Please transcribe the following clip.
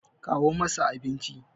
kawo masa abinci!